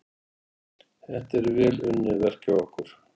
Þetta er vel unnið verk hjá okkur.